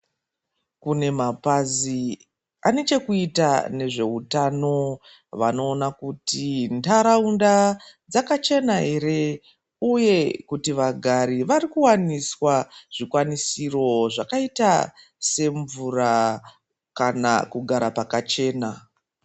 Kune mapazi anechekuita nezveutano, vanoona kuti ntaraunda dzakachena here uye kuti vagari varikuwaniswa zvikwanisiro zvakaita semvura kana kugara pakachena.